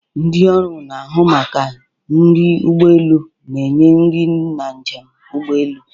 Ndị ọrụ na-ahụ maka nri ụgbọ elu na-enye nri na njem ụgbọ elu.